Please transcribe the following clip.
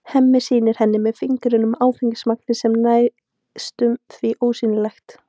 Hemmi sýnir henni með fingrunum að áfengismagnið er næstum því ósýnilegt.